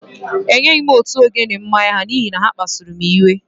Enyeghị m òtù ogene mmanya ha n’ihi na ha kpasuru m iwe